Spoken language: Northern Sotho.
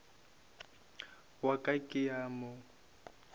wa ka ke a mo